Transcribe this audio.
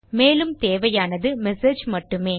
மேலும் தேவையானதுmessage மட்டுமே